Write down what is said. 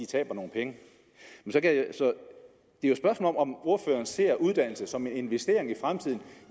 taber nogle penge det er jo et spørgsmål om om ordføreren ser uddannelse som en investering i fremtiden